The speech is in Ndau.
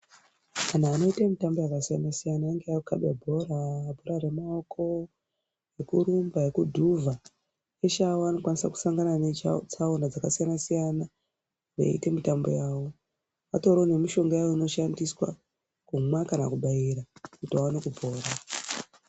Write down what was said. Vantu vanoite mitambo yakasiyana siyana kungave kukhabe bhora, bhora remaoko ekurumba ekudhuvha, eshe awa anokwanisa kushangana netsaona dzakasiyana siyana veite mitambo yawo . Patoriwo nemishonga yaanoshandisa kumwa kana kubairwa kuti aone kupora.